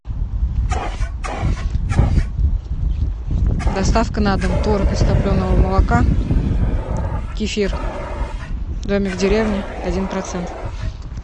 доставка на дом творог из топленого молока кефир домик в деревне один процент